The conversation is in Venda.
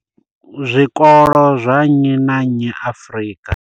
zwikolo zwa nnyi na nnyi Afrika.